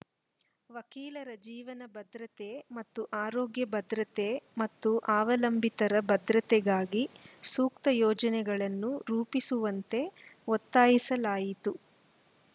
ವಕೀಲರ ಜೀವನ ಭದ್ರತೆ ಮತ್ತು ಆರೋಗ್ಯ ಭದ್ರತೆ ಮತ್ತು ಅವಲಂಬಿತರ ಭದ್ರತೆಗಾಗಿ ಸೂಕ್ತ ಯೋಜನೆಗಳನ್ನು ರೂಪಿಸುವಂತೆ ಒತ್ತಾಯಿಸಲಾಯಿತು